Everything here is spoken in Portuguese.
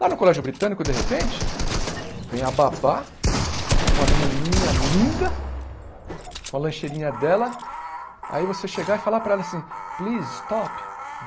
Lá no colégio britânico, de repente, vem a babá com uma menininha linda, com a lancheirinha dela, aí você chegar e falar para ela assim... Please, stop.